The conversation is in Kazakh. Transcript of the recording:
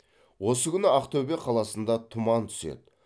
осы күні ақтөбе қаласында тұман түседі